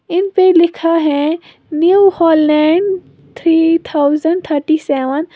इन पर लिखा है New Holland three thousand thirty seven.